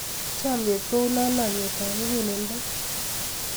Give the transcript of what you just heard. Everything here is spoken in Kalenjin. Chomnyet kou lolong'yetab muguleldo.